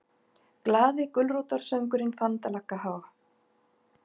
GLAÐI GULRÓTARSÖNGURINNFANDALAGGAHOJ